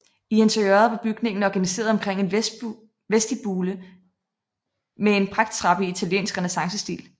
I interiøret var bygningen organiseret omkring en vestibule med en pragttrappe i italiensk renæssancestil